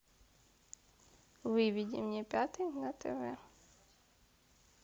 выведи мне пятый на тв